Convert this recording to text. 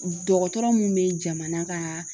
Dɔgɔtɔrɔ mun bɛ jamana ka